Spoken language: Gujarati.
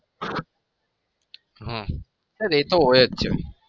હા sir એતો હોય જ છે.